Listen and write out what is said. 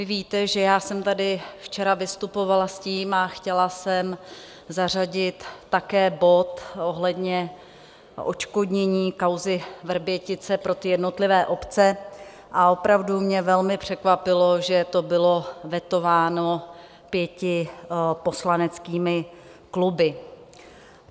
Vy víte, že já jsem tady včera vystupovala s tím a chtěla jsem zařadit také bod ohledně odškodnění kauzy Vrbětice pro jednotlivé obce, a opravdu mě velmi překvapilo, že to bylo vetováno pěti poslaneckými kluby.